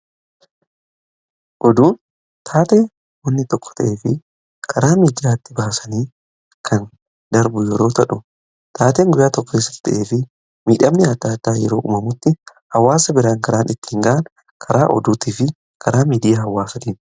Oduun taatee wanti tokko ta'ee fi karaa miidiyaatti baasanii kan darbu yeroo ta'u, taatee guyyaa tokko keessatti ta'ee fi miidhamni addaa addaa yeroo uumamutti hawaasa biraan karaan ittiin ga'an karaa oduutii fi karaa miidiyaa hawaasaatiin.